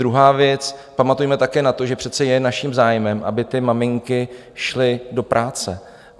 Druhá věc, pamatujme také na to, že přece je naším zájmem, aby ty maminky šly do práce.